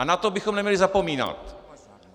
A na to bychom neměli zapomínat.